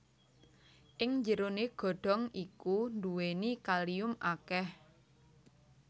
Ing njeronè godhong iku nduwèni kalium akèh